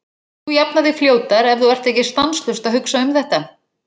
Þú jafnar þig fljótar ef þú ert ekki stanslaust að hugsa um þetta.